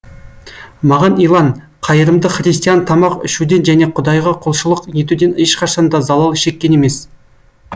маған илан қайырымды христиан тамақ ішуден және құдайға құлшылық етуден ешқашан да залал шеккен емес